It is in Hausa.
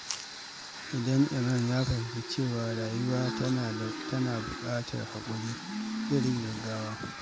Idan Imran ya fahimci cewa rayuwa tana buƙatar haƙuri, zai rage gaggawa.